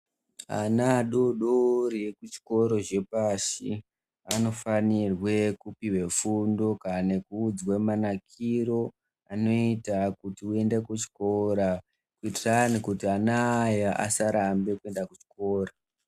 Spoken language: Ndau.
Ana adoodori ekuchikoro chepashi anofanirwe kupiwe fundo kana nekuudzwa manakiro anoita kuti uende kuchikora kuitira kuti ana aya asarambe kuenda kuchikora.